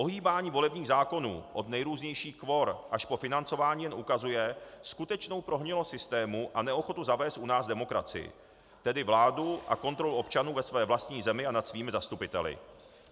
Ohýbání volebních zákonů od nejrůznějších kvor až po financování jen ukazuje skutečnou prohnilost systému a neochotu zavést u nás demokracii, tedy vládu a kontrolu občanů ve své vlastní zemi a nad svými zastupiteli.